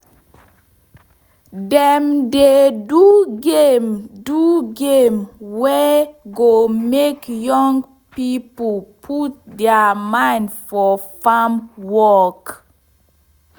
dem dey do game do game wey go make young pipo put deir mind for farm work